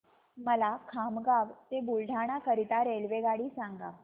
मला खामगाव ते बुलढाणा करीता रेल्वेगाडी सांगा